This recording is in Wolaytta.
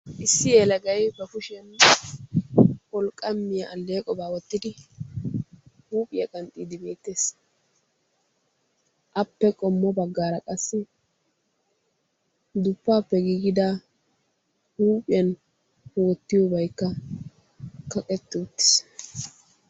Issi yelagay ba kushiyaan wolqqamiyaa alleqobaa wottidi huuphphiyaa qanxxiidi beettees. appe qommo baggaara qassi duppaappe giigida huuphphiyaan wottiyoobaykka kaqetti uttiis.